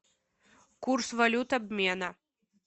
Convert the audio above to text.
курс валют обмена